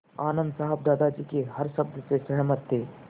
आनन्द साहब दादाजी के हर शब्द से सहमत थे